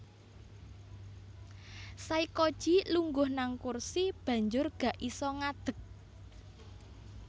Saykoji lungguh nang kursi banjur gak iso ngadeg